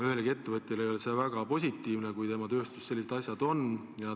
Ühelegi ettevõtjale ei mõju positiivselt, kui tema tööstuses sellised asjaolud ilmnevad.